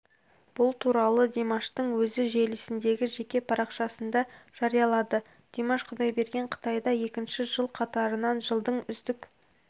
бұл туралы димаштың өзі желісіндегі жеке парақшасында жариялады димаш құдайберген қытайда екінші жыл қатарынан жылдың үздік